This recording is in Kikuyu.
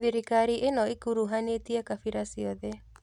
Thirikari ĩno ĩkuruhanĩtie gabira ciothe